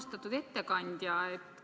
Austatud ettekandja!